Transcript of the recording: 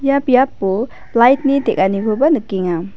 ia biapo lait ni teng·anikoba nikenga.